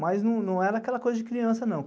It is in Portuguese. Mas não era aquela coisa de criança, não.